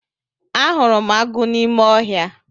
Ahụrụ m agụ n'ime ọhịa.